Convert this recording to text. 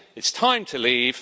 It's time to leave.